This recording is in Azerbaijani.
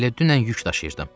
Elə dünən yük daşıyırdım.